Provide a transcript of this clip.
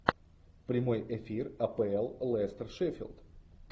прямой эфир апл лестер шеффилд